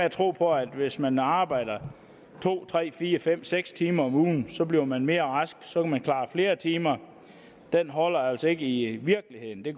at tro på at hvis man arbejder to tre fire fem eller seks timer om ugen så bliver man mere rask så kan man klare flere timer holder altså ikke i virkeligheden det